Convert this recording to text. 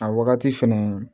A wagati fɛnɛ